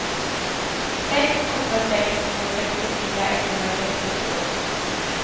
sex åtta sex två sextiofyra etthundrasextiotvå